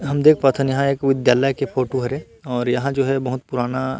हम देख पात हन यहाँ एक विद्यालय के फोटो हरे और यहाँ जो है बहुत पुराना--